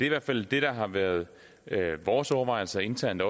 i hvert fald det der har været vores overvejelser internt